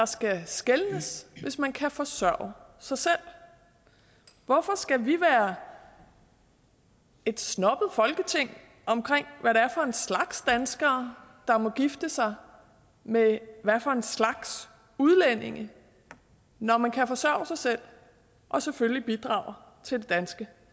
skal skelnes hvis man kan forsørge sig selv hvorfor skal vi være et snobbet folketing omkring hvad det er for en slags danskere der må gifte sig med hvad for en slags udlændinge når man kan forsørge sig selv og selvfølgelig bidrager til det danske